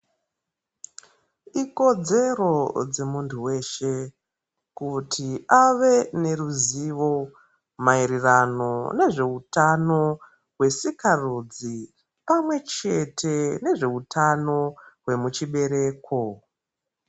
Ikodzero remuntu weshe kuti ave neruzivo maererano nezveutano wesikarudzi pamwe chete nezveutano wemuchibereko.